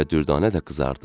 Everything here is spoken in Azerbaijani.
Və Dürdanə də qızardı.